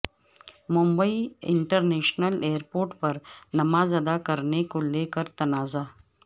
Mumbai international airport پر نماز ادا کرنے کو لے کر تنازع